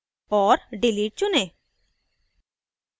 और delete चुनें